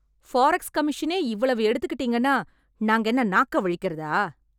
Forex கமிஷனே இவ்வளவு எடுத்துட்டீங்கன்னா நாங்க என்ன நாக்க வழிக்கறதா?